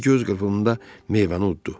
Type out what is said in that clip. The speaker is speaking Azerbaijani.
O bir göz qırpımında meyvəni utdu.